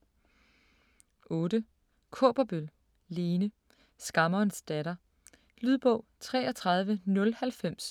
8. Kaaberbøl, Lene: Skammerens datter Lydbog 33090